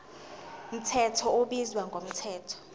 mthetho ubizwa ngomthetho